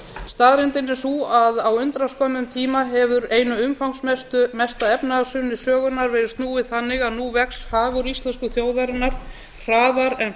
staðreyndin er sú að á undraskömmum tíma hefur einu umfangsmesta efnahagshruni sögunnar verið snúið þannig að nú vex hagur íslensku þjóðarinnar hraðar en